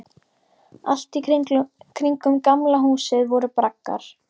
Allt í kringum Gamla húsið voru braggar.